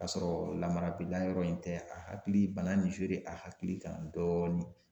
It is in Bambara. Ka sɔrɔ lamarabɛliya yɔrɔ in tɛ a hakili bana n i a hakili kan dɔɔni.